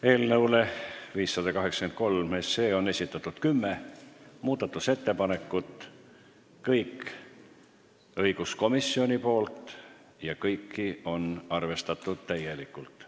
Eelnõu 583 kohta on esitatud kümme muudatusettepanekut, kõik on õiguskomisjonilt ja kõiki on arvestatud täielikult.